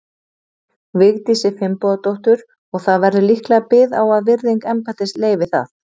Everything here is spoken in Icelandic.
Vigdísi Finnbogadóttur, og það verður líklega bið á að virðing embættisins leyfi það.